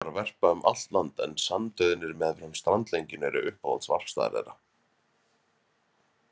Kjóar verpa um allt land en sandauðnir meðfram strandlengjunni eru uppáhalds varpstaðir þeirra.